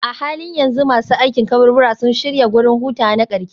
A halin yanzu masu aikin kaburbura sun fara shirya wurin hutawa na ƙarshe.